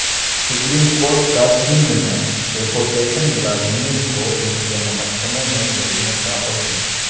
supreme court کا سندھ میں deputation ملازمین کو ان کے محکموں میں بھیجنے کا حکم